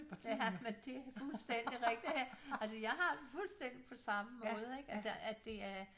Ja men det er fuldstændig rigtigt altså jeg har det fuldstændig på samme måde ik at der det er